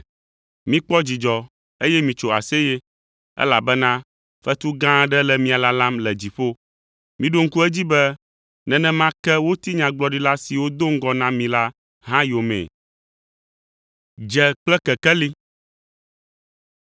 Mikpɔ dzidzɔ, eye mitso aseye, elabena fetu gã aɖe le mia lalam le dziƒo. Miɖo ŋku edzi be, nenema ke woti Nyagblɔɖila siwo do ŋgɔ na mi la hã yomee.